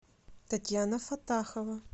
татьяна фатахова